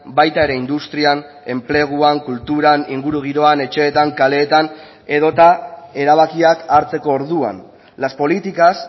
baita ere industrian enpleguan kulturan ingurugiroan etxeetan kaleetan edota erabakiak hartzeko orduan las políticas